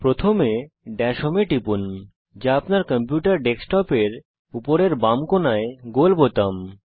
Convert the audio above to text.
প্রথমে dash home এ টিপুন যা আপনার কম্পিউটার ডেস্কটপের উপরের বাম কোণায় গোল বোতাম